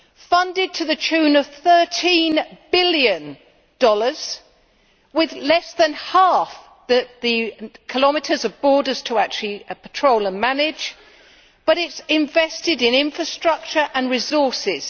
Funded to the tune of USD 13 billion with less than half the kilometres of borders to actually patrol and manage but it has invested in infrastructure and resources.